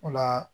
O la